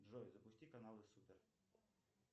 джой запусти каналы супер